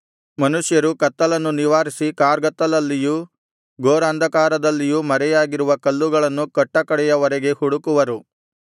ಮನುಷ್ಯರು ಕತ್ತಲನ್ನು ನಿವಾರಿಸಿ ಕಾರ್ಗತ್ತಲಲ್ಲಿಯೂ ಘೋರಾಂಧಕಾರದಲ್ಲಿಯೂ ಮರೆಯಾಗಿರುವ ಕಲ್ಲುಗಳನ್ನು ಕಟ್ಟಕಡೆಯ ವರೆಗೆ ಹುಡುಕುವರು